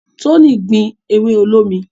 Toni ogbin ewe olómi